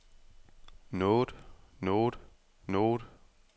noget noget noget